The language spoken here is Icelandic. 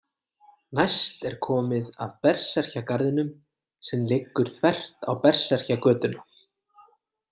Næst er komið að Berserkjagarðinum sem liggur þvert á Berserkjagötuna.